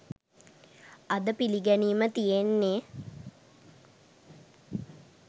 අද පිළිගැනීම තියෙන්නේ